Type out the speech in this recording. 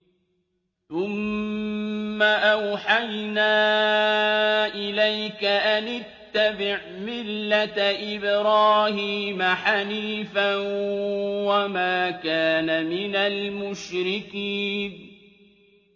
ثُمَّ أَوْحَيْنَا إِلَيْكَ أَنِ اتَّبِعْ مِلَّةَ إِبْرَاهِيمَ حَنِيفًا ۖ وَمَا كَانَ مِنَ الْمُشْرِكِينَ